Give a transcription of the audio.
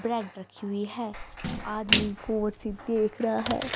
Bread रखी हुई है आदमी गौर से देख रहा है।